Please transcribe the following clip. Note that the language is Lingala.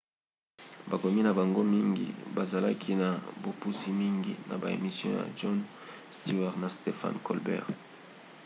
bakomi na bango mingi bazalaki na bopusi mingi na ba emission ya jon stewart na stephen colbert